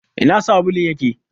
Ina sabulun yake?